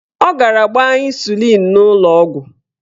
Ọ gara gbaa ịnsulịn n'ụlọọgwụ.